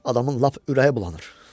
Adamın lap ürəyi bulanır.